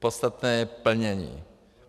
Podstatné je plnění.